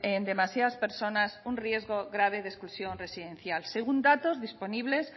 demasiadas personas en un riesgo grave de exclusión residencial según datos disponibles